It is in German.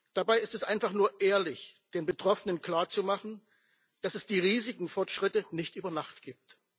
Dabei ist es einfach nur ehrlich, den Betroffenen klarzumachen, dass es die riesigen Fortschritte nicht über Nacht gibt.